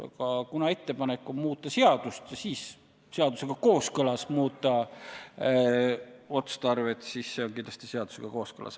Aga kuna ettepanek on muuta seadust ja seejärel seadusega kooskõlas muuta otstarvet, siis selline toimimine on kindlasti seadusega kooskõlas.